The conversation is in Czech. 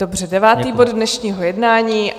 Dobře, devátý bod dnešního jednání.